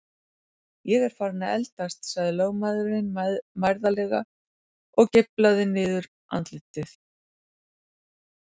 Ég er farinn að eldast, sagði lögmaðurinn mærðarlega og geiflaði niðurandlitið.